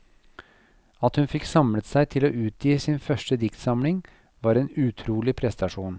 At hun fikk samlet seg til å utgi sin første diktsamling, var en utrolig prestasjon.